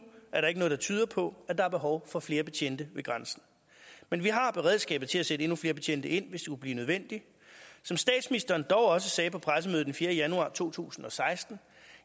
er der ikke noget der tyder på at der er behov for flere betjente ved grænsen men vi har beredskabet til at sætte endnu flere betjente ind hvis det skulle blive nødvendigt som statsministeren dog også sagde på pressemødet den fjerde januar to tusind og seksten